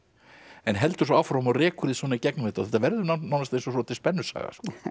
en heldur áfram og rekur þig í gegnum þetta þetta verður nánast eins og svolítil spennusaga